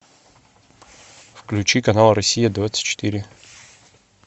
включи канал россия двадцать четыре